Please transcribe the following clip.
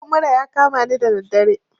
Ciwon mura ya kamani da daddare